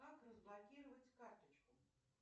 как разблокировать карточку